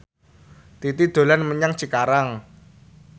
Titi dolan menyang Cikarang